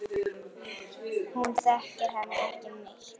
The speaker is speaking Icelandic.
Hún þekkir hann ekki neitt.